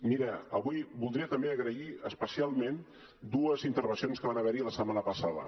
mira avui voldria també agrair especialment dues intervencions que van haver hi la setmana passada